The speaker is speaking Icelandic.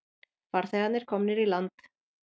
Farþegarnir komnir í land